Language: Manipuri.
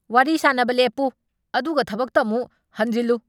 ꯋꯥꯔꯤ ꯁꯥꯅꯕ ꯂꯦꯞꯄꯨ ꯑꯗꯨꯒ ꯊꯕꯛꯇ ꯑꯃꯨꯛ ꯍꯟꯖꯤꯜꯂꯨ!